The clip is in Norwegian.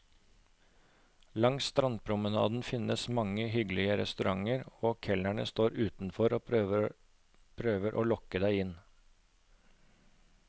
Langs strandpromenaden finnes mange hyggelige restauranter, og kelnerne står utenfor og prøver å lokke deg inn.